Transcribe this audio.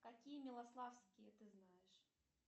какие милославские ты знаешь